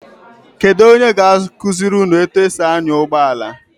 Kedu onye ga-akụziri etu esi anya ụgbọala?